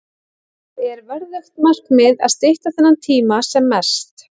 Það er verðugt markmið að stytta þennan tíma sem mest.